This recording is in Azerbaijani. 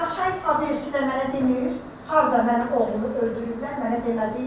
Qaçay adresi də mənə demir, harda mənim oğlumu öldürüblər mənə demədi.